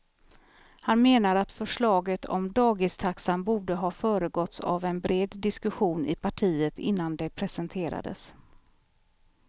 Han menar att förslaget om dagistaxan borde ha föregåtts av en bred diskussion i partiet innan det presenterades.